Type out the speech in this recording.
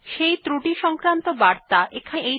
সেই ত্রুটি সংক্রান্ত বার্তা এখানে দেখা যাচ্ছে